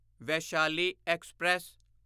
Vaishali express